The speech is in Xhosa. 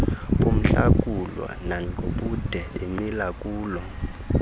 bomhlakulo nangobude bemilakulo